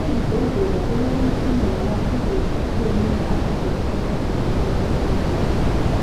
Ezibhedlela kulemitshina lamathuluzi atshiyeneyo asetshenziswa ngodokotela ukwelapha izigulane